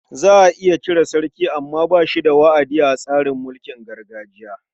Za a iya cire sarki amma ba shi da wa'adi a tsarin mulkin gargajiya.